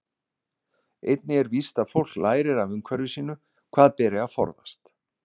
Einnig er víst að fólk lærir af umhverfi sínu hvað beri að forðast.